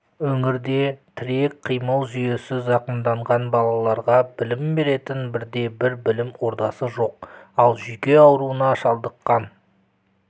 өңірде тірек-қимыл жүйесі зақымданған балаларға білім беретін бірде бір білім ордасы жоқ ал жүйке ауруына шалдыққан